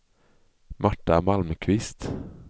Marta Malmqvist